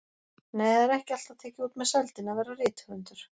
Nei, það er ekki alltaf tekið út með sældinni að vera rithöfundur.